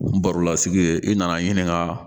Baro la sigi ye i nana ɲininka